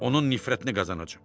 Onun nifrətini qazanacam.